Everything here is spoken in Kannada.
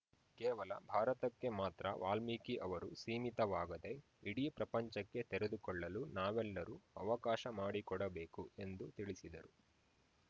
ಕೇವಲ ಭಾರತಕ್ಕೆ ಮಾತ್ರ ವಾಲ್ಮಿಕಿ ಅವರು ಸೀಮಿತವಾಗದೆ ಇಡೀ ಪ್ರಪಂಚಕ್ಕೆ ತೆರೆದುಕೊಳ್ಳಲು ನಾವೆಲ್ಲರು ಅವಕಾಶ ಮಾಡಿಕೊಡಬೇಕು ಎಂದು ತಿಳಿಸಿದರು